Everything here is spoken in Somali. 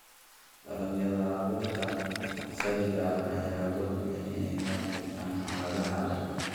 Dalagyada abuurka asaliga ah ayaa awood u leh inay u adkeystaan ??xaaladaha adag.